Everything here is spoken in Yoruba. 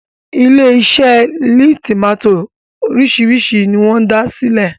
ilé ise leè tomati orisi ni wón sí dá silẹ